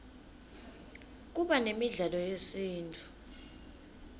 kuba nemidlalo yesintfu